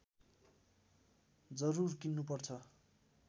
जरुर किन्नुपर्छ